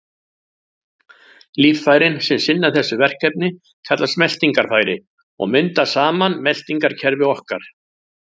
Líffærin sem sinna þessu verkefni kallast meltingarfæri og mynda saman meltingarkerfi okkar.